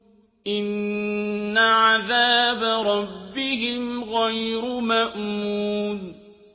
إِنَّ عَذَابَ رَبِّهِمْ غَيْرُ مَأْمُونٍ